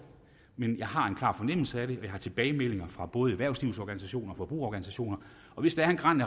men jeg har en klar fornemmelse af det jeg har tilbagemeldinger fra både erhvervslivets organisationer forbrugerorganisationer og hvis der er et gran